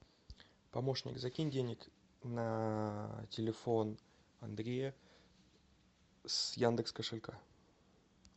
помощник закинь денег на телефон андрея с яндекс кошелька